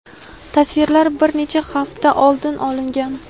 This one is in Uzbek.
Tasvirlar bir necha hafta oldin olingan.